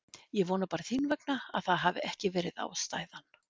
Ég vona bara þín vegna að það hafi ekki verið ástæðan.